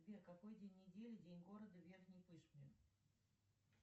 сбер какой день недели день города в верхней пышме